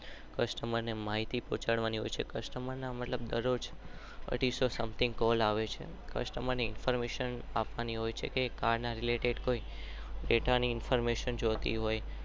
Customer ને માહિતી પોકાડવાની હોય છે.